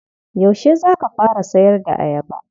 Yaushe za ka fara sayar da ayaba?